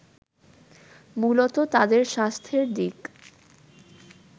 মূলত তাদের স্বাস্থ্যের দিক